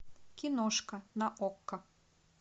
киношка на окко